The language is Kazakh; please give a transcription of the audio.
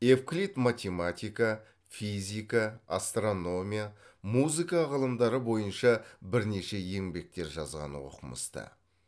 евклид математика физика астрономия музыка ғылымдары бойынша бірнеше еңбектер жазған оқымысты